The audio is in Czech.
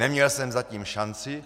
Neměl jsem zatím šanci.